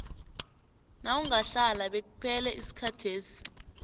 nawungahlala bekuphele isikhathesi